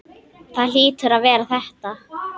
Það hlýtur að vera þetta.